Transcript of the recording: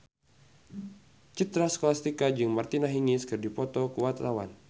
Citra Scholastika jeung Martina Hingis keur dipoto ku wartawan